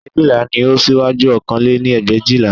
Ẹgbẹ̀éjìlá ni ó síwájú ọ̀kan lé ní ẹgbẹ̀éjìlá